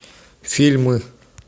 фильмы